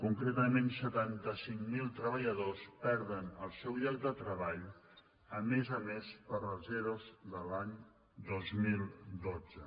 concretament setanta cinc mil treballadors perden el seu lloc de treball a més a més pels ero de l’any dos mil dotze